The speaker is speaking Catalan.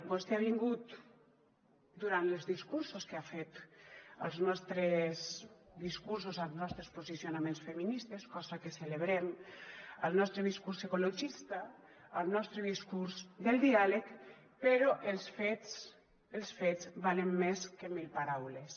vostè ha vingut durant els discursos que ha fet als nostres discursos als nostres posicionaments feministes cosa que celebrem al nostre discurs ecologista al nostre discurs del diàleg però els fets els fets valen més que mil paraules